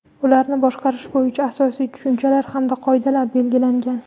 ularni boshqarish bo‘yicha asosiy tushunchalar hamda qoidalar belgilangan.